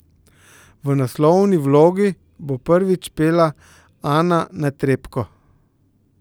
V naslovni vlogi bo prvič pela Ana Netrebko.